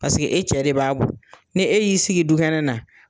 Paseke e cɛ de b'a bɔ, ni e y'i sigi dukɛnɛ na,